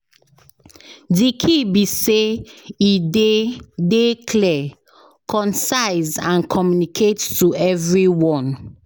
Di key be say e dey dey clear, concise and communicate to everyone.